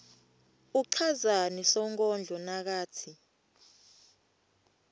uchazani sonkondlo nakatsi